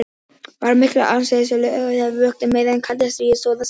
Var mikil áhersla lögð á slíka vöktun meðan kalda stríði stóð sem hæst.